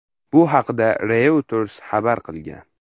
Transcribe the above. Bu haqda Reuters xabar qilgan .